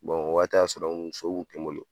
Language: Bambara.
o waati y'a sɔrɔ muso kun tɛ n bolo